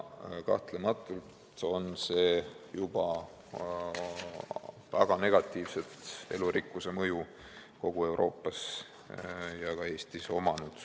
" Kahtlematult on sel olnud juba väga negatiivne mõju elurikkusele kogu Euroopas ja ka Eestis.